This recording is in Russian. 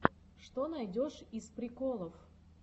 что найдешь из приколов